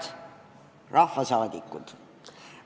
Head rahvasaadikud!